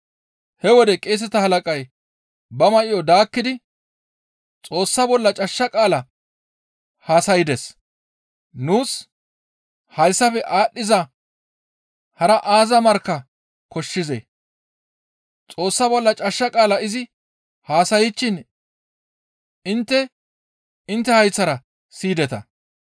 He wode qeeseta halaqay ba may7o daakkidi, «Xoossa bolla cashsha qaala haasaydes; nuus hayssafe aadhdhiza hara aaza markka koshshizee! Xoossa bolla cashsha qaala izi haasayshin intte intte hayththara siyideta.